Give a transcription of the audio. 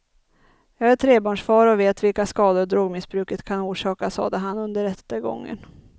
Jag är trebarnsfar och vet vilka skador drogmissbruket kan orsaka, sade han under rättegången.